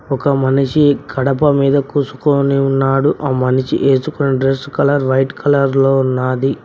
ఒక మనిషి కడప మీద కూసుకోని ఉన్నాడు ఆ మనిషి ఏసుకున్న డ్రెస్ కలర్ వైట్ కలర్లో ఉన్నాది.